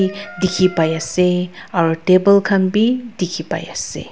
dekhi pai ase aru table khan bhi dekhi pai ase.